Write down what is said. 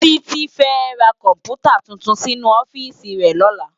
Titi fè rá kòmpútá túntún sinú òfìsí rè lòlá